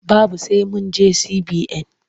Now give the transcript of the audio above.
Babu sai mun je CBN.